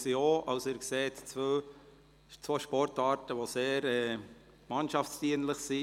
Sie sehen, es handelt sich um zwei Sportarten, die sehr mannschaftsdienlich sind.